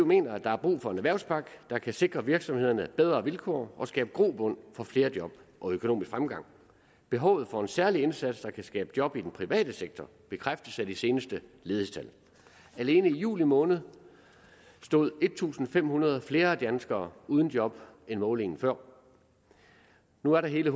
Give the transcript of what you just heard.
mener at der er brug for en erhvervspakke der kan sikre virksomhederne bedre vilkår og skabe grobund for flere job og økonomisk fremgang behovet for en særlig indsats der kan skabe job i den private sektor bekræftes af de seneste ledighedstal alene i juli måned stod en tusind fem hundrede flere danskere uden job ved målingen før nu er der hele